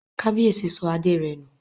Kábíyèsí sọ adé rẹ̀ nù